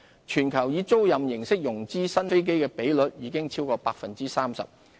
全球以租賃形式融資新飛機的比率已超過 30%。